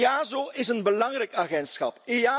EASO is een belangrijk agentschap.